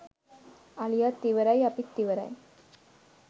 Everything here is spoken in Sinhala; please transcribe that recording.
අලියත් ඉවරයි අපිත් ඉවරයි.